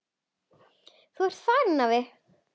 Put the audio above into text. Þá ert þú farinn, afi.